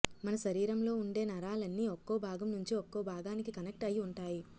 మన శరీరీరంలో ఉండే నరాలన్నీ ఒక్కో భాగం నుంచి ఒక్కో భాగానికి కనెక్ట్ అయి ఉంటాయి